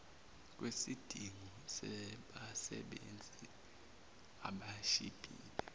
kwesidingo sabasebenzi abashibhile